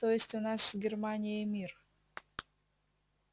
то есть у нас с германией мир